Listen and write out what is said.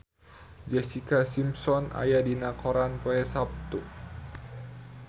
Jessica Simpson aya dina koran poe Saptu